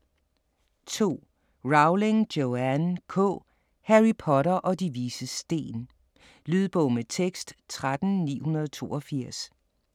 2. Rowling, Joanne K.: Harry Potter og De Vises Sten Lydbog med tekst 13982